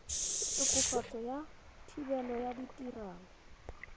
tokafatso ya thebolo ya ditirelo